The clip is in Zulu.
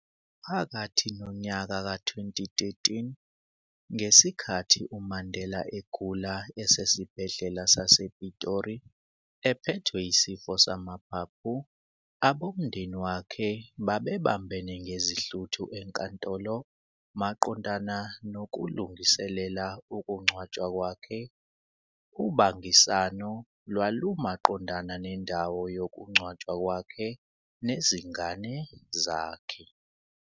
Phakathi nonyaka ka-2013, ngesikhathi uMandela egula esesibhedlela sasePitori ephethwe yisifo samaphaphu, abomndeni wakhe babebambene ngezihluthu enkantolo, maqondana nokulungiselela ukungcwatshwa kwakhe, ubangisano lwalumaqondana nendawo yokungcwatshwa kwakhe nezingane zakhe.